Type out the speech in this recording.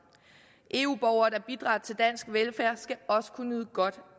eu borgere der bidrager til dansk velfærd skal også kunne nyde godt